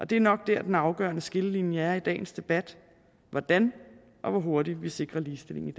det er nok der den afgørende skillelinje er i dagens debat hvordan og hvor hurtigt vi sikrer ligestilling